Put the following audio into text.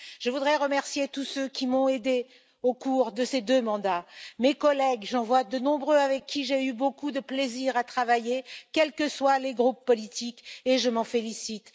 Je voudrais remercier tous ceux qui m'ont aidée au cours de ces deux mandats mes collègues, j'en vois de nombreux avec qui j'ai eu beaucoup de plaisir à travailler, quels que soient les groupes politiques, et je m'en félicite